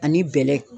Ani bɛlɛ